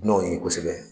Dunanw ye kosɛbɛ